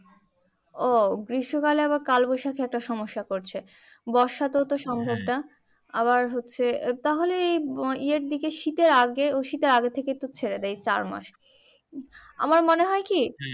ও গ্রীস্মকাল এ আবার কালবৈশাখী একটা সমস্যা করছে বর্ষাতেও সম্ভব না তাহলে হচ্ছে ইয়ের দিকে শীতের আগে ও শীতের আগে থেকেই তো ছেড়ে দে চার মাস আমার মনে হয় কি